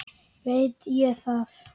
Veit ég það.